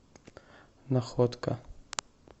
находка